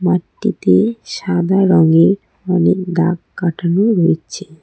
মাঠটিতে সাদা রঙের অনেক দাগ কাটানো রয়েছে।